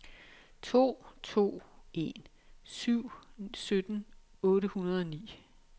to to en syv sytten otte hundrede og ni